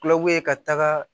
Kulakuye ka taga